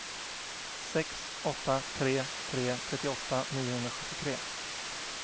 sex åtta tre tre trettioåtta niohundrasjuttiotre